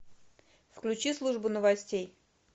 включи службу новостей